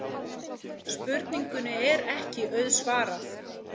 Spurningunni er ekki auðsvarað.